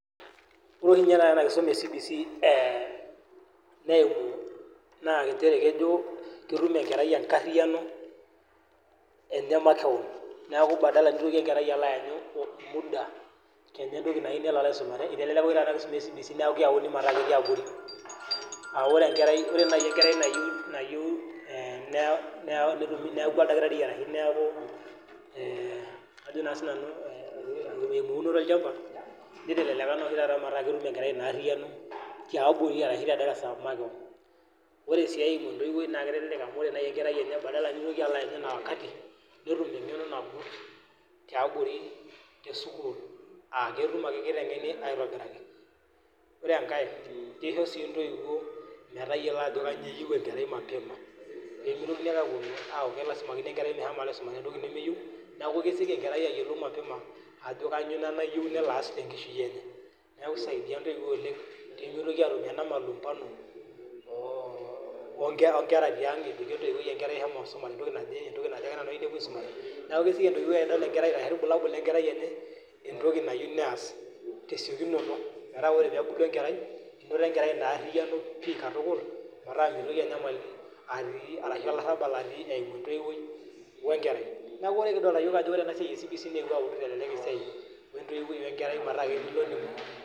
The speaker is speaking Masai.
Ore ninye taata ena kisuma e CBC neewuo naa nchere kejo ketum engerai engarhiyiano enemakeon niake padala nitoki engerai alo aanyu muda Kenya entoki nalo aisomare netii taa enkisuma e CBC neeku keyauni abori Ore nai engerai nayieu neeku oldakitari ashu ajo naa siinanu eunoto olchamba niteleleka naa taata amu etum engerai ina arhiyiano tiabori arashu tedarasa makewon Ore sii entoiwuoi naa kitelelek amu padala nitoki anya ina wakati netum eng'eno nagut tiabori tesukuul aa kiteng'eni aitobiraki Ore enkai naa kisho sii intoiwuo metayiolo ajo kanyoo eyieu engerai mapema nimitokini aaku kelazima peegelakini engerai entoki nemeyieu niaku kesioki engerai ayiolou mapema ajo kanyoo ina nayieu nelo aas tengishui enye neeku kisaidia intoiwuo oleng peemitoki atum ena malumbano oongera tiang' ajo shomo isumare entoki naje entoki naje ake nanu ayieu nepuoi aisumare, neeku keyieu sii ninye entoiwuoi ashu ilbulabul lengerai enye entoki nayieu neas tesiokinoto metaa ore peebulu engerai enoto engerai ina arhiyiano pih katukul metaa mitoki enyamali atii arashu olarhabal atii eimu entoiwuoi we nkerai Niaku ore kidolita yiok ena siai e CBC